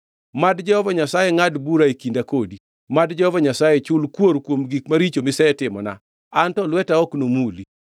Mad Jehova Nyasaye ngʼad bura e kinda kodi. Mad Jehova Nyasaye chul kuor kuom gik maricho misetimona, an to lweta ok nomuli.